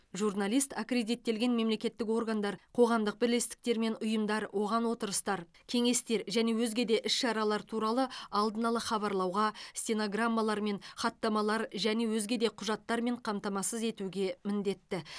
журналист аккредиттелген мемлекеттік органдар қоғамдық бірлестіктер мен ұйымдар оған отырыстар кеңестер және өзге де іс шаралар туралы алдын ала хабарлауға стенограммалармен хаттамалармен және өзге де құжаттармен қамтамасыз етуге міндетті